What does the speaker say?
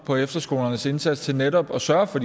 på efterskolernes indsats til netop at sørge for